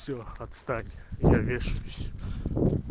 всё отстань я вешаюсь